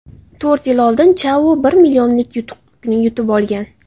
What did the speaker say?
To‘rt yil oldin Chao bir millionlik yutuqni yutib olgan.